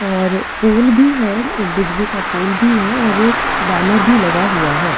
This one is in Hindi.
और पोल भी है बिजली का पोल भी है और एक बैनर भी लगा हुआ है।